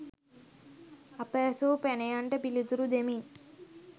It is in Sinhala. අප ඇසූ පැනයන්ට පිළිතුරු දෙමින්